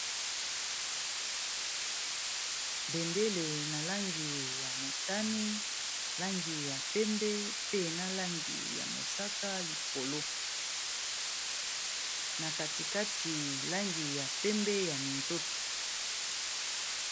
Bendele na langi ya motani, langi ya pembe, pe na langi ya mosaka likolo, na kati kati langi ya pembe ya minzoto.